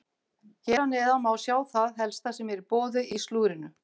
Hér að neðan má sjá það helsta sem er í boði í slúðrinu.